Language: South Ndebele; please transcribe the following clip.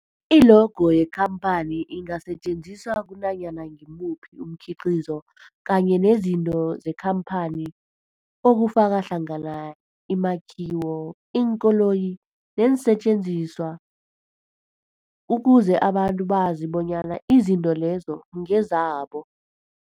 I-logo yekhamphani ingasetjenziswa kunanyana ngimuphi umkhiqizo kanye nezinto zekhamphani okufaka hlangana imakhiwo, iinkoloyi neensentjenziswa ukuze abantu bazi bonyana izinto lezo ngezabo.